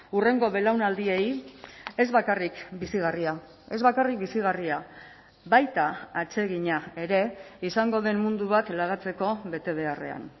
hurrengo belaunaldiei ez bakarrik bizigarria ez bakarrik bizigarria baita atsegina ere izango den mundu bat lagatzeko betebeharrean